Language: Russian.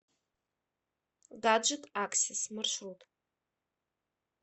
гаджет аксес маршрут